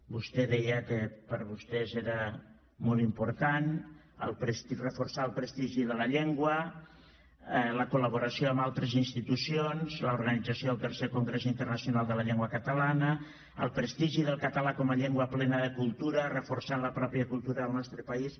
vostè deia que per a vostès era molt important reforçar el prestigi de la llengua la col·laboració amb altres institucions l’organització del tercer congrés internacional de la llengua catalana el prestigi del català com a llengua plena de cultura reforçant la pròpia cultura al nostre país